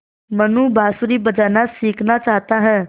मनु बाँसुरी बजाना सीखना चाहता है